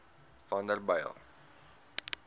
vanderbijl